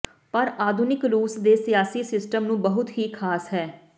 ਪਰ ਆਧੁਨਿਕ ਰੂਸ ਦੇ ਸਿਆਸੀ ਸਿਸਟਮ ਨੂੰ ਬਹੁਤ ਹੀ ਖਾਸ ਹੈ